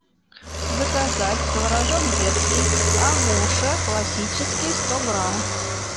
заказать творожок детский агуша классический сто грамм